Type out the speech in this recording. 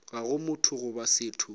ga go motho goba setho